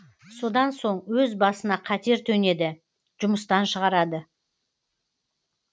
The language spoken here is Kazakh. содан соң өз басына қатер төнеді жұмыстан шығарады